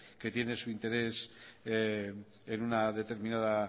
que tiene su interés en una determinada